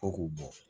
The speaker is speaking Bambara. Fo k'o bɔ